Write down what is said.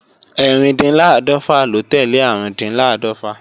Ẹ́rìndínláàdọ́fà ló tẹ́lẹ̀ Árùndinláàdọ́fà